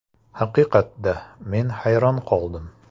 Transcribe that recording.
Haqiqatda, men hayron qoldim!